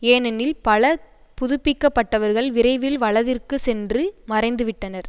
ஏனெனில் பல புதுப்பிக்கப்பட்டவர்கள் விரைவில் வலதிற்கு சென்று மறைந்துவிட்டனர்